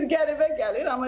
Bir qəribə gəlir.